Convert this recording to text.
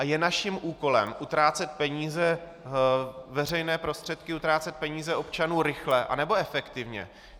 A je naším úkolem utrácet peníze, veřejné prostředky, utrácet peníze občanů rychle, anebo efektivně?